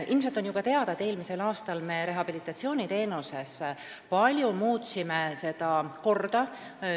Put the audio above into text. Ilmselt on juba teada, et eelmisel aastal me rehabilitatsiooniteenuses paljuski muutsime seda korda.